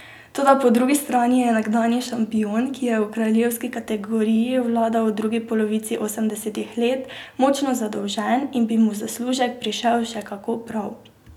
Toda po drugi strani je nekdanji šampion, ki je v kraljevski kategoriji vladal v drugi polovici osemdesetih let, močno zadolžen in bi mu zaslužek prišel še kako prav.